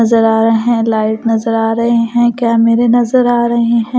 नजर आ रहे हैं लाइट नजर आ रहे हैं कैमरे नजर आ रहे हैं ।